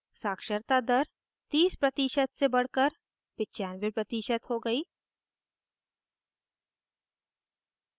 साक्षरता दर 30% से बढ़कर 95% हो गयी है